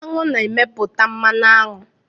Aṅụ na-emepụta mmanụ aṅụ